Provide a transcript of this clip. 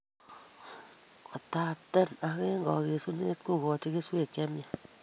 kotaapten ak eng' kagesunet kogoochi kesweek che myach